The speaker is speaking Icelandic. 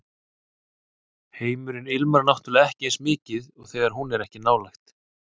Heimurinn ilmar náttúrlega ekki eins mikið þegar hún er ekki nálægt